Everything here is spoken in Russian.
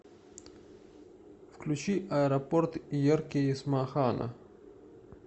включи аэропорт ерке есмахана